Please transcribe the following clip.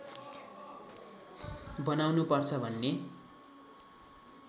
बनाउनु पर्छ भन्ने